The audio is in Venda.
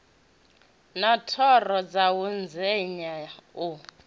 na thoro dzawo ndenya u